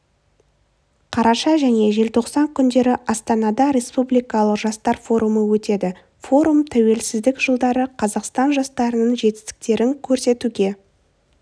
қараша және желтоқсан күндері астанада республикалық жастар форумы өтеді форум тәуелсіздік жылдары қазақстан жастарының жетістіктерін көрсетуге